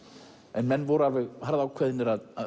en menn voru alveg ákveðnir að